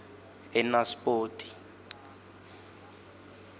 enaspoti